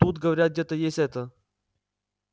тут говорят где-то есть это